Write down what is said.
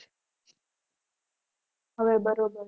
હવે બરોબર